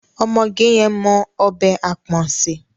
Ọmọge yẹn mọ ọbẹ̀ àpọ̀n sè.